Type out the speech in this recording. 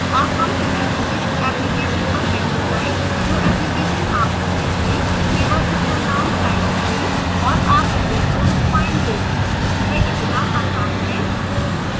अब हम किसी विशिष्ट application पर कैसे जाएं जो application आपको चाहिए केवल उसका name type करें और आप उसे तुरंत पायेंगे यह इतना आसान है